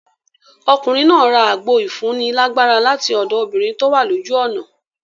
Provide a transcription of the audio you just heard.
Ọkùnrin náà ra àgbo ìfúni lágbára lati ọ̀dọ̀ obìnrin tówà lójú ọ̀nà.